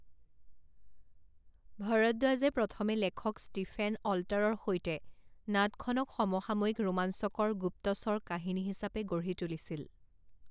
ভৰদ্বাজে প্ৰথমে লেখক ষ্টিফেন অল্টাৰৰ সৈতে নাটখনক সমসাময়িক ৰোমাঞ্চকৰ গুপ্তচৰ কাহিনী হিচাপে গঢ়ি তুলিছিল।